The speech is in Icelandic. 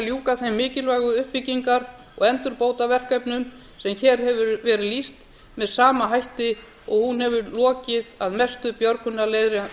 ljúka þeim mikilvægu uppbyggingar og endurbótaverkefnum sem hér hefur verið lýst með sama hætti og hún hefur lokið að